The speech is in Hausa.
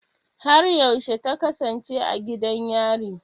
Har yaushe ta kasance a gidan yari?